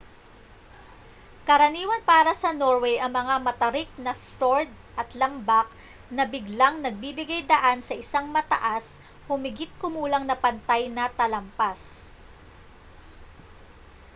karaniwan para sa norway ang mga matarik na fjord at lambak na biglang nagbibigay-daan sa isang mataas humigit-kumulang na pantay na talampas